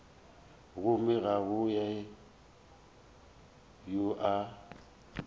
gomme ga go yo a